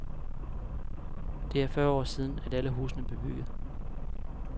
Det er fyrre år siden, at alle husene blev bygget.